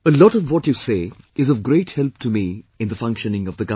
A lot of what you say is of great help to me in the functioning of the government